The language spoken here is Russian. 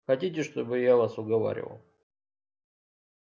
хотите чтобы я вас уговаривал